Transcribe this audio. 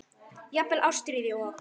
Jafnvel Ástríði og